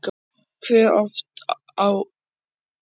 Hversu oft ef einhvern tíman neytir þú áfengis á keppnistímabilinu?